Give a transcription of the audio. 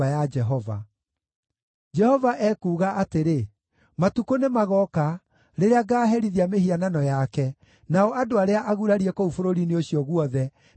Jehova ekuuga atĩrĩ, “Matukũ nĩmagooka rĩrĩa ngaaherithia mĩhianano yake, nao andũ arĩa agurarie kũu bũrũri-inĩ ũcio guothe nĩmagacaaya.